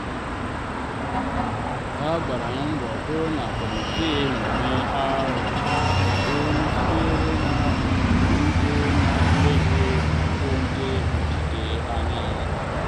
ha gbara mbọ hụ na kọmiti mmemme ahụ gụnyere olu sitere na obodo ndị na-enweghị ọtụtụ ndị nnọchite anya.